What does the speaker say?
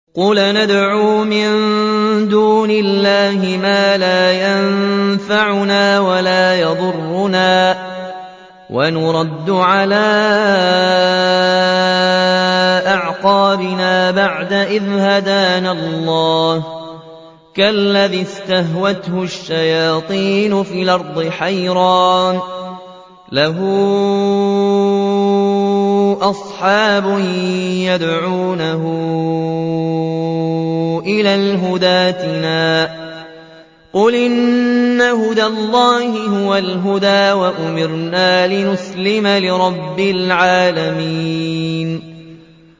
قُلْ أَنَدْعُو مِن دُونِ اللَّهِ مَا لَا يَنفَعُنَا وَلَا يَضُرُّنَا وَنُرَدُّ عَلَىٰ أَعْقَابِنَا بَعْدَ إِذْ هَدَانَا اللَّهُ كَالَّذِي اسْتَهْوَتْهُ الشَّيَاطِينُ فِي الْأَرْضِ حَيْرَانَ لَهُ أَصْحَابٌ يَدْعُونَهُ إِلَى الْهُدَى ائْتِنَا ۗ قُلْ إِنَّ هُدَى اللَّهِ هُوَ الْهُدَىٰ ۖ وَأُمِرْنَا لِنُسْلِمَ لِرَبِّ الْعَالَمِينَ